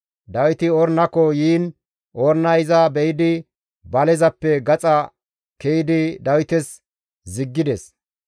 Dawiti Ornako yiin Ornay iza be7idi balezappe gaxa ke7idi Dawites ziggides.